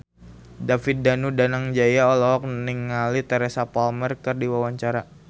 David Danu Danangjaya olohok ningali Teresa Palmer keur diwawancara